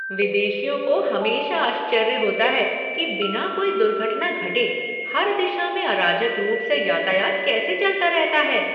विदेशियों को हमेशा आश्चर्य होता है कि बिना कोई दुर्घटना घटे, हर दिशा में अराजक रूप से यातायात कैसे चलता रहता है।